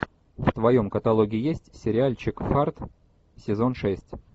в твоем каталоге есть сериальчик фарт сезон шесть